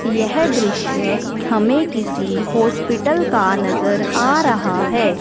यह दृश्य हमें किसी हॉस्पिटल का नजर आ रहा है।